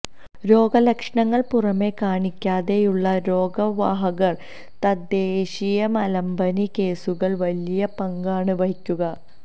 രോഗ ലക്ഷണങ്ങള് പുറമെ കാണിക്കാതെയുള്ള രോഗ വാഹകര് തദ്ദേശീയ മലമ്പനി കേസുകള് വലിയ പങ്കാണ് വഹിക്കുക